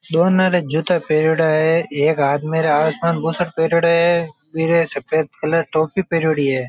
दोनों रे जूता पहरयोडा है एक आदमी ने आसमान बुसेट पहरयोडो है बीरे सफ़ेद कलर की टॉपी पहरोड़ी है।